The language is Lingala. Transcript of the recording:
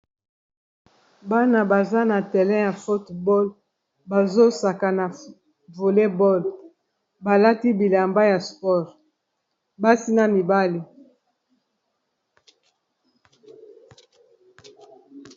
bana baza na terrain ya fotball bazosaka na voulet boad balati bilamba ya spore basi na mibale